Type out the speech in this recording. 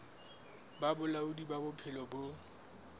ba bolaodi ba bophelo bo